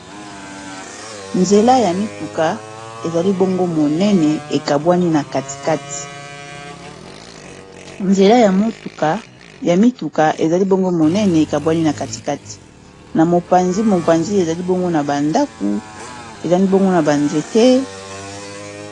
Nzela ya mituka ezali bongo monene ekabwani na katikati na mopanzi-mopanzi ezali bongo na bandaku ezali bongo na banzete